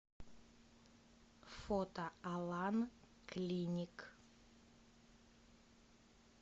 фото алан клиник